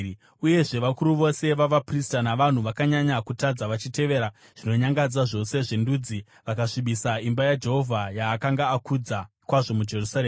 Uyezve vakuru vose vavaprista navanhu vakanyanya kutadza vachitevera zvinonyangadza zvose zvendudzi vakasvibisa imba yaJehovha yaakanga akudza kwazvo muJerusarema.